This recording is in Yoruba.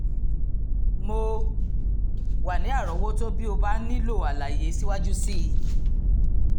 mo wà ní àrọ́wọ́tó bí o bá nílò àlàyé síwájú sí i